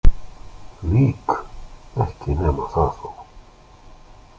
Lík, ekki nema það þó!